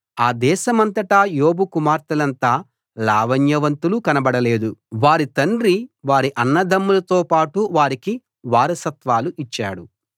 ఆ దేశమంతటా యోబు కుమార్తెలంత లావణ్యవతులు కనబడలేదు వారి తండ్రి వారి అన్నదమ్ములతో పాటు వారికి వారసత్వాలు ఇచ్చాడు